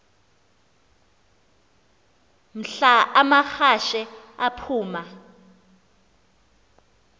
mhla amahashe aphuma